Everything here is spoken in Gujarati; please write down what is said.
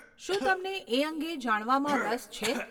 શું તમને એ અંગે જાણવામાં રસ છે?